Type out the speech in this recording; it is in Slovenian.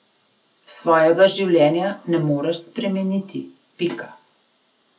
Svojega življenja ne moreš spremeniti, pika.